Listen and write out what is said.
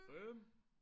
5